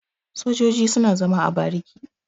Sojoji suna zama a bariki.